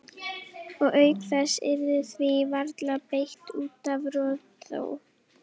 Og auk þess yrði því varla beitt út af rotþró.